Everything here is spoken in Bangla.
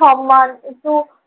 সম্মান একটু